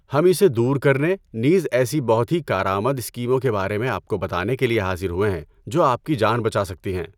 ہم اسے دور کرنے، نیز ایسی بہت ہی کارآمد اسکیموں کے بارے میں آپ کو بتانے کے لیے حاضر ہوئے ہیں جو آپ کی جان بچا سکتی ہیں۔